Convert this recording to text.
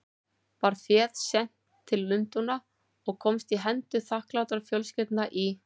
Var féð sent til Lundúna og komst í hendur þakklátra fjölskyldna í